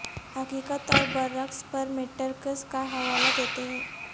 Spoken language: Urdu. حقیقت اور برعکس پر میٹرکس کا حوالہ دیتے ہیں